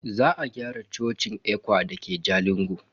Za a gyara cocin ECWA dake Jalingo.